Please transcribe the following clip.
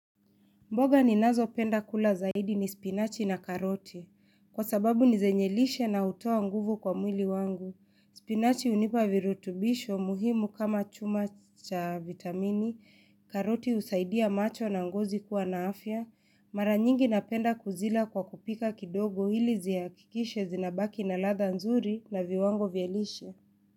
Mboga ni nazo penda kula zaidi ni spinachi na karoti Kwa sababu ni zenyelishe na hutoa nguvu kwa mwili wangu. Spinachi unipa virutubisho muhimu kama chuma cha vitamini. Karoti husaidia macho na ngozi kuwa na afya. Mara nyingi napenda kuzila kwa kupika kidogo ili ziakikishe zinabaki na ladha nzuri na viwango vielishe.